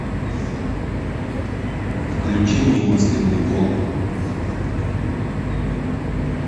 включи мне мысленный волк